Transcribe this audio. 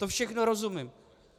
Tomu všemu rozumím.